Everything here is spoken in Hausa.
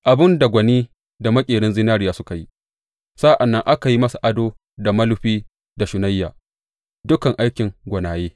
Abin da gwani da maƙerin zinariya suka yi sa’an nan aka yi masa ado da mulufi da shunayya dukan aikin gwanaye.